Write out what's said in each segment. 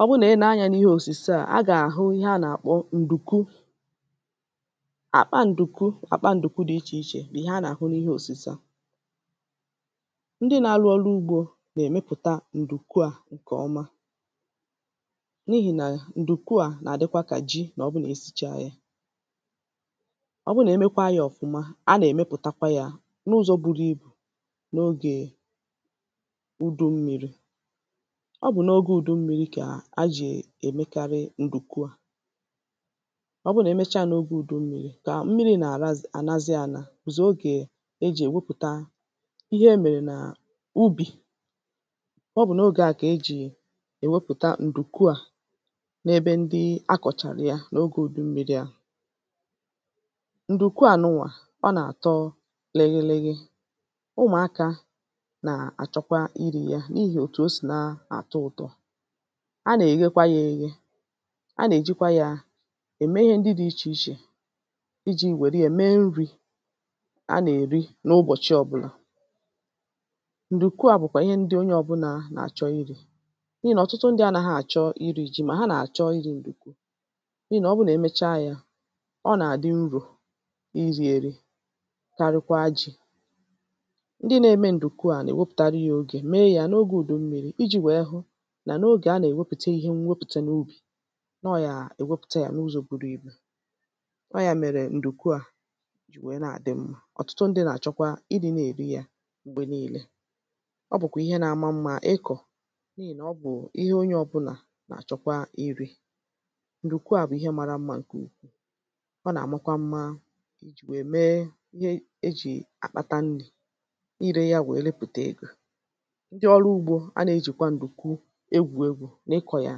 ọ bụrụ nà i nee anyā n’ihe òsùse à a gà-àhụ ihe ha nà-àkpọ ǹdùkwu akpa ǹdùkwu akpa ǹdùkwu dị̄ ichè ichè bụ̀ ihe a nà-àhụ n’ihe òsùse à ndị nā-ārụ̄ ọrụ ugbō nà-èmepùta ǹdùkwu à ǹkè ọma n’ihì nà ǹdùkwa à nà-àdịkwa kà ji mà o ̣bụrụ na-esicha yā ọ bụrụ na-emekwa yā ọ̀fụma a nà-èmepùtakwa yā n’ụzọ̄ buru ibù n’ogè ùdu mmīrī ọ bụ̀ n’ogē ùdu mmīrī kà ejì èmekarị ǹdùkwu à ọ bụrụ na-emecha yā n’ogē ùdu m̄mīrī kà mmrī nà-àrazi ànazi ānā bụ̀zị̀ ogē ejì èwepùta ihe emèrè nà-ubì ọ bụ̀ n’ogē āhụ̀ kà ejì èwepùta ǹdụ̀kwu à n’ebe ndị akọ̀chàrà ya n’ogē ùdu mmīrī ahụ̀ ǹdùkwu ànụà ọ nà-àtọ lịgịlịgị ụmụ̀akā nà-àchọkwa irī yā n’ihì òtù o sì na-àtọ ụ̄tọ̄ a nà-èghekwa yā ēghē a nà-èjikwa yā ème ihe ndị dị̄ ichè ichè ijī nwère yā mee nrī a nà-èri n’ụbọ̀chị ọ̄bụ̄nà ǹdùkwu à bụ̀kwà ihe ndị onye ọ̄bụ̄nà nà-àchọ irī n’ihì nà ọ̀tụtụ ndị̄ anāghị̄ àchọ irī jī mà ha nà-àchọ irī ǹdùkwu n’ihì nà ọ bụrụ nà ha mecha yā ọ nà-àdị nrō irī ērī karịkwa jī ndị nā-ēmē ǹdùkwu à nà-èwepùtara yā ogè mee yā n’ogē ùdu m̄mīrī ijī nwèe hụ nà n’ogè ha nà-èwepùte ihe nwepùte n’ubì nà ọ yà-èwepùte yā n’ụzọ̄ buru ibù ọọ̀ ya mèrè ǹdùkwu à jì nwèe na-àdị mmā ọ̀tụtụ ndị̄ nà-àchọkwa ịdị̄ na-èri yā m̀gbè niīlē ọ bụ̀kwà ihe nā-āmā mmā ịkọ̀ n’ihì nà ọ bụ̀ ihe onye ọ̄bụ̄là nà-àchọkwa irī ǹdùkwu à bụ̀ ihe mārā mmā ǹkè ukwuù ọ nà-àmakwa mma ijì nwè mee ihe ejì àkpata nnī irē yā nwèe repùte egō ndị ọrụ ugbō a nà-ejìkwa ǹdùkwu egwù egwū na-ịkọ̀ yà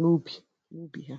n’ubì n’ubì ha